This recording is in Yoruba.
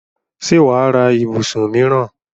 ṣé wà á ra ibùsùn míìràn?